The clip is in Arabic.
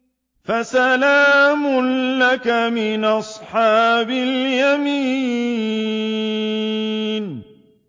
فَسَلَامٌ لَّكَ مِنْ أَصْحَابِ الْيَمِينِ